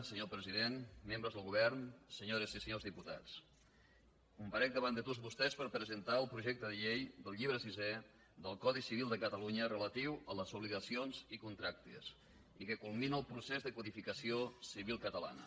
senyor president membres del govern senyores i senyors diputats comparec davant de tots vostès per presentar el projecte de llei del llibre sisè del codi civil de catalunya relatiu a les obligacions i contractes i que culmina el procés de codificació civil catalana